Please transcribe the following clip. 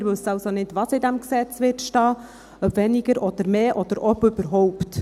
Wir wissen also noch nicht, was im Gesetz stehen wird, ob weniger oder mehr oder ob überhaupt.